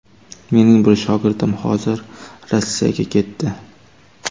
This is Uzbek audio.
Mening bir shogirdim hozir Rossiyaga ketdi.